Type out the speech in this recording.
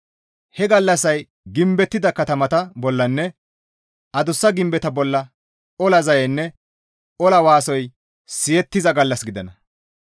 He gallassay gimbettida katamata bollanne adussa gimbeta bolla ola zayeynne ola waasoy siyettiza gallas gidana.